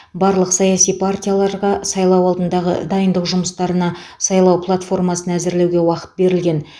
барлық саяси партияларға сайлау алдындағы дайындық жұмыстарына сайлау платформасын әзірлеуге уақыт берілген